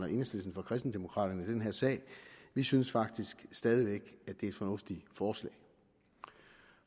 og enhedslisten fra kristendemokraterne i den her sag vi synes faktisk stadig væk at det er et fornuftigt forslag